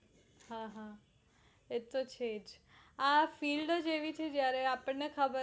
હા હા એતો છે જ આ field જ એવી છે જયારે આપણને ખબર